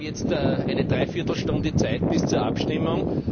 Wir haben jetzt eine Dreiviertelstunde Zeit bis zur Abstimmung.